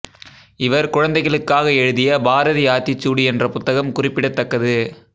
இவர் குழந்தைகளுக்காக எழுதிய பாரதி ஆத்திசூடி என்ற புத்தகம் குறிப்பிடத்தக்கது